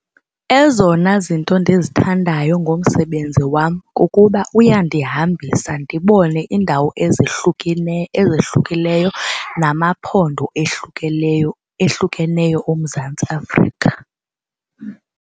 Ezona zinto ndizithandayo ngomsebenzi wam kukuba uyandihambisa ndibone iindawo ezehlukileyo namaphondo ehlukeneyo oMzantsi Afrika.